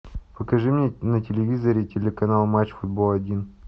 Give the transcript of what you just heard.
покажи мне на телевизоре телеканал матч футбол один